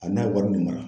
A n'a wari mara